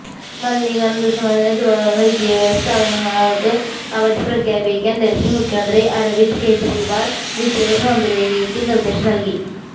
മലിനീകരണം രൂക്ഷമായതിനെത്തുടര്ന്ന് വിദ്യാഭ്യാസ സ്ഥാപനങ്ങള്ക്ക് അവധി പ്രഖ്യാപിക്കാന് ഡല്ഹി മുഖ്യമന്ത്രി അരവിന്ദ് കെജ്രിവാള് വിദ്യാഭ്യാസ മന്ത്രിക്ക് നിര്ദേശം നല്കി